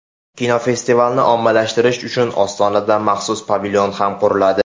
Kinofestivalni ommalashtirish uchun Ostonada maxsus pavilon ham quriladi.